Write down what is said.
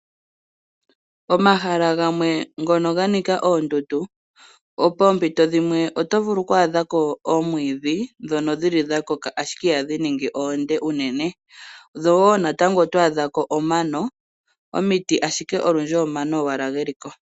Omahala gamwe ngono ga nika oondundu poompito dhimwe oto vulu okwaadha ko omwiidhi ngono gu li gwa koka ashike ihagu ningi omule unene, ko natango oto adha ko omano nomiti, ashike olundji omano owala ge li ko.